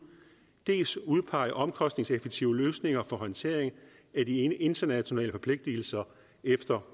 dels udpege omkostningseffektive løsninger for håndtering af de internationale forpligtigelser efter